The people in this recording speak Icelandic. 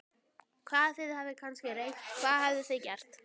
Hvað, þið hafið kannski reynt, hvað hafið þið gert?